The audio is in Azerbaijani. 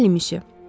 Bəli, misyo.